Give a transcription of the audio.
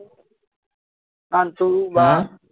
নান্টু বা